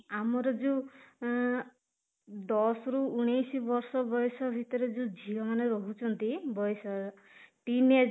ଆମର ଯୋଉ ଆଁ ଦଶ ରୁ ଉଣେଇଶି ବର୍ଷ ବୟସ ଭିତରେ ଯୋଉ ଝିଅମାନେ ରହୁଛନ୍ତି ବୟସ teenage